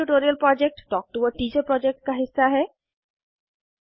spoken tutorial project talk to a teacher project का हिस्सा है